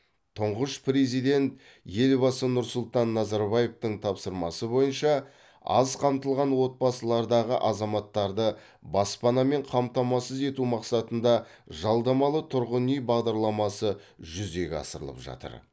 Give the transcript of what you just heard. тұңғыш президент елбасы нұрсұлтан назарбаевтың тапсырмасы бойынша аз қамтылған отбасылардағы азаматтарды баспанамен қамтамасыз ету мақсатында жалдамалы тұрғын үй бағдарламасы жүзеге асырылып жатыр